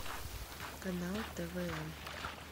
канал твм